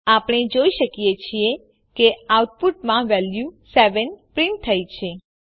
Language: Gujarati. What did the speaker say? આપણે જોઈએ છીએ કે આઉટપુટમાં વેલ્યુ ૭ પ્રીંટ થઇ છે